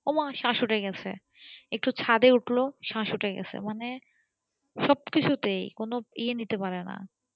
ওহ মা স্বাশ উঠে গেসে একটু ছাদে উঠলো স্বাশ উঠে গেসে সব কিছুতেই মানে কোন ই নিতে পারেনা